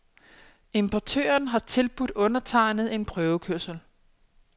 Importøren har tilbudt undertegnede en prøvekørsel.